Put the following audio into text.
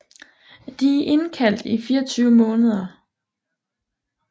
De er indkaldt i 24 måneder